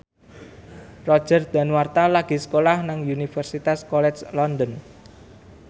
Roger Danuarta lagi sekolah nang Universitas College London